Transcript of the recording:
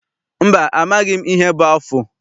Mba, amaghị m ihe bụ afụ.